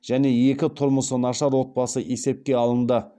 және екі тұрмысы нашар отбасы есепке алынды